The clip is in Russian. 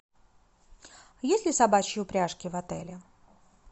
есть ли собачьи упряжки в отеле